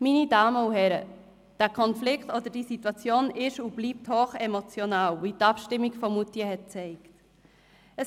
Meine Damen und Herren, dieser Konflikt oder diese Situation ist und bleibt hochemotional, wie die Abstimmung von Moutier gezeigt hat.